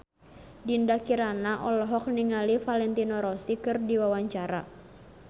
Dinda Kirana olohok ningali Valentino Rossi keur diwawancara